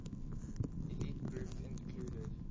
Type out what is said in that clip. elite group included